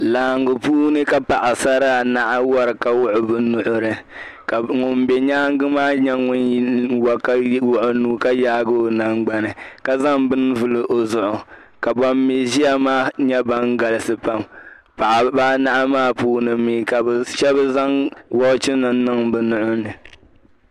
Laɣingu puuni ka paɣi sara anahi n wari ka wuɣi bɛ nuhi. ka ŋun be nyaaŋgi maa nyɛ ŋun wari ka wuɣi ɔnuu ka yaagi ɔ nan gbani. ka zaŋ bɛni n vuli ɔ zuɣu, ka ban mi ʒiya maa nyɛ ban galisi pam, paɣa ba anahi maa puuni shabi zaŋ woch nim n niŋ bɛ nuhini